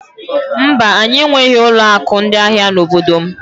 Mba, anyị enweghị ụlọ akụ ndị ahịa n'obodo m.